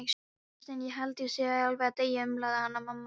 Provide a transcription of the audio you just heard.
Gunnsteinn, ég held ég sé alveg að deyja, umlaði Hanna-Mamma.